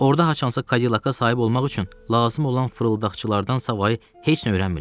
Orda haçansa Cadillac-a sahib olmaq üçün lazım olan fırıldaqçılardansa heç nə öyrənmirlər.